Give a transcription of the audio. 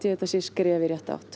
þetta sé skref í rétta átt